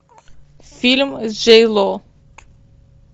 фильм с джей ло